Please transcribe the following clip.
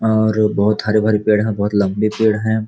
और बहुत हरे भारे पेड़ हैं बहुत लंबे पेड़ हैं।